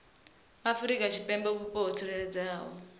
afrika tshipembe vhupo ho tsireledzeaho